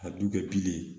A du kɛ bilen